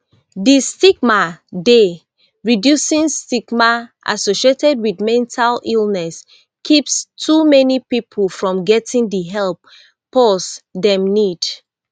di stigma dey reducing stigma associated wit mental illness keeps too many pipo from getting di help pause dem need